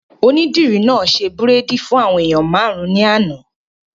Onídìrí náà ṣe bírèèdì fún àwọn èèyàn máàrún ní àná